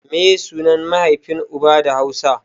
Meye sunan mahaifin uba da hausa?